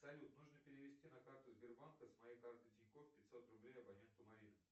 салют нужно перевести на карту сбербанка с моей карты тинькофф пятьсот рублей абоненту марина